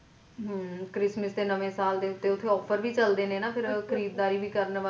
ਹਮ christmas ਤੇ ਨਾਵੇਂ ਸਾਲ ਉੱਤੇ offer ਵੀ ਚੱਲਦੇ ਨੇ ਨਾ